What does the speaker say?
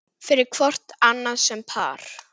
fyrir hvort annað sem par